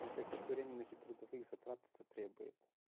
а каких временных и трудовых затрат это требует